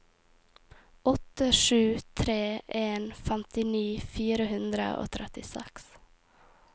åtte sju tre en femtini fire hundre og trettiseks